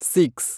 six